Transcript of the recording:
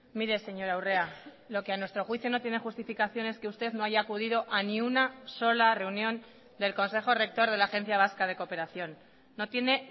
mire señora urrea lo que a nuestro juicio no tiene justificación es que usted no haya acudido a ni una sola reunión del consejo rector de la agencia vasca de cooperación no tiene